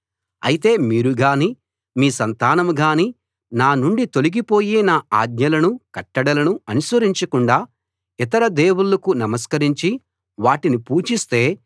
అయితే మీరు గాని మీ సంతానం గాని నానుండి తొలగిపోయి నా ఆజ్ఞలను కట్టడలను అనుసరించకుండా ఇతర దేవుళ్ళకు నమస్కరించి వాటిని పూజిస్తే